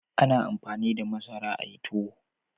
A na amfani da masara a yi tuwo